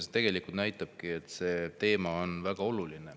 See tegelikult näitab, et see teema on väga oluline.